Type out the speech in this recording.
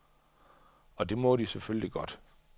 Og det må de selvfølgelig godt.